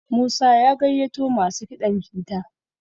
Musa ya gaiyato masu kiɗan jita